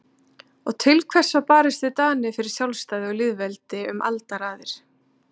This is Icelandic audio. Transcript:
Og til hvers var barist við Dani fyrir sjálfstæði og lýðveldi um aldaraðir?